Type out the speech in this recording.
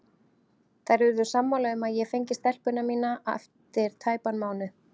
Þær urðu sammála um að ég fengi stelpuna mína eftir tæpan mánuð.